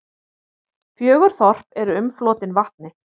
Fjögur þorp eru umflotin vatni.